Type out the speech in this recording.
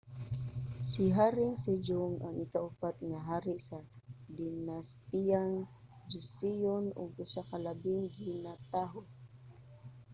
si haring sejong ang ikaupat nga hari sa dinastiyang joseon ug usa sa labing ginatahud